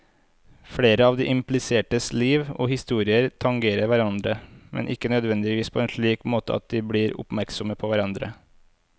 Flere av de implisertes liv og historier tangerer hverandre, men ikke nødvendigvis på en slik måte at de blir oppmerksomme på hverandre.